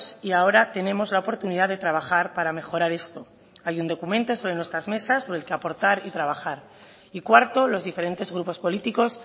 y ahora tenemos la oportunidad de trabajar para mejorar esto hay un documento sobre nuestras mesas sobre el que aportar y trabajar y cuarto los diferentes grupos políticos